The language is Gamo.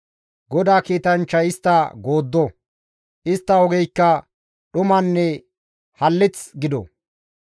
GODAA kiitanchchay istta gooddo; istta ogeykka dhumanne hallith gido.